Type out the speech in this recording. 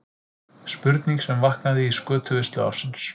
Spurning sem vaknaði í skötuveislu ársins.